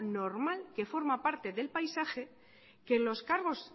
normal que forma parte del paisaje que los cargos